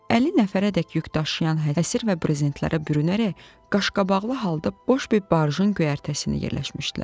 Əlli nəfərədək yükdaşıyan həsır və brezentlərə bürünərək, qaşqabaqlı halda boş bir barjın göyərtəsinə yerləşmişdilər.